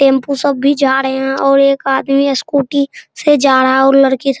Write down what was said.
tempo सब भी जा रहे हैं और एक आदमी स्कूटी से जा रहा है और लड़की --